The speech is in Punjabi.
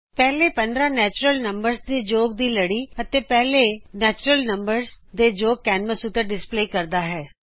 ਪਹਿਲੀ 15 ਕੁਦਰਤੀ ਸੰਖਿਆ ਦੇ ਯੋਗ ਦੀ ਲੜੀ ਅਤੇ ਪਹਿਲੇ ਕੁਦਰਤੀ ਸੰਖਿਆ ਦੇ ਯੋਗ ਕੈਨਵਸ ਉੱਤੇ ਡਿਸਪਲੇ ਕਰਦਾ ਹੈ